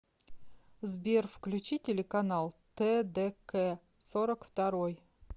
сбер включи телеканал тэ дэ кэ сорок второй